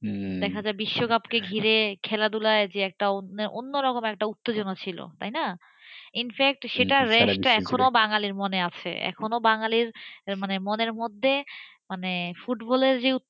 দেখা যায় যে বিশ্বকাপকে ঘিরে খেলাধুলা যে একটা অন্যরকম উত্তেজনা ছিল, তাই না? সেটার race এখনও বাঙালির মনে আছেএখনো বাঙালির মনের মধ্যে মানে ফুটবলের যে উত্তেজনা,